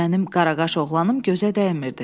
Mənim qaraqaş oğlanım gözə dəymirdi.